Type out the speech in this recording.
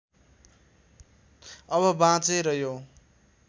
अब बाँचेर यो